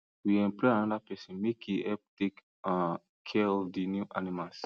we employ another person make e help take um care of the new animals